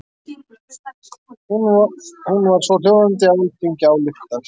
Hún var svohljóðandi: Alþingi ályktar